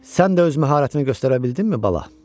Sən də öz məharətini göstərə bildinmi bala?